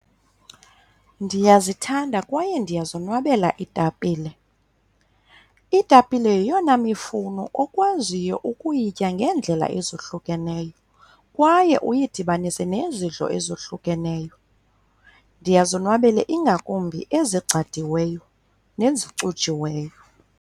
Ndiyazithanda kwaye ndiyazonwabela iitapile. Iitapile yeyona mifuno okwaziyo ukuyitya ngeendlela ezohlukeneyo kwaye uyidibanise nezidlo ezohlukeneyo. Ndiyazonwabela, ingakumbi ezigcadiweyo nezicujiweyo.